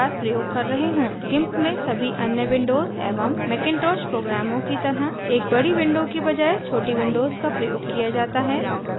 gimp में सभी अन्य windows एवं macintosh programs की तरह एक बड़ी windows के बजाय छोटी windows का प्रयोग किया जाता है